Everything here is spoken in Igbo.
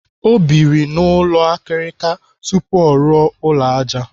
Ọ biri n'ụlọ akirika tupu ọ rụọ ụlọ ájá.